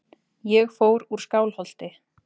Ég fór úr Skálholti.